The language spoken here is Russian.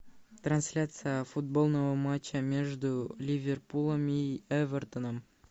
трансляция футбольного матча между ливерпулем и эвертоном